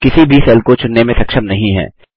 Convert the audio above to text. हम किसी भी सेल को चुनने में सक्षम नहीं हैं